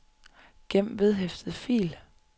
gem vedhæftet fil